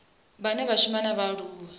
vhane vha shuma na vhaaluwa